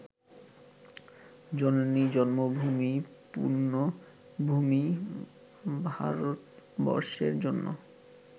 জননী জন্মভূমি পূণ্যভূমি ভারতবর্ষের জন্য